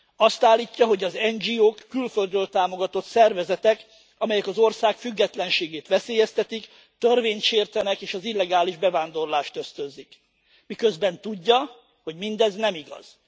Azt állítja, hogy az NGO k külföldről támogatott szervezetek, amelyek az ország függetlenségét veszélyeztetik, törvényt sértenek, és az illegális bevándorlást ösztönzik, miközben tudja, hogy mindez nem igaz.